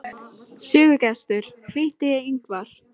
Sigurgestur, hringdu í Yngvar.